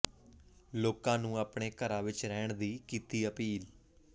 ਲੋਕਾਂ ਨੂੰ ਆਪਣੇ ਘਰਾਂ ਵਿੱਚ ਰਹਿਣ ਦੀ ਕੀਤੀ ਅਪੀਲ